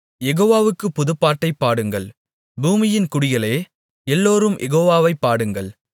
யெகோவாவுக்குப் புதுப்பாட்டைப் பாடுங்கள் பூமியின் குடிகளே எல்லோரும் யெகோவாவைப் பாடுங்கள்